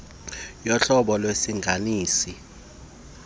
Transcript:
yohlobo lwesilinganisi sentsusa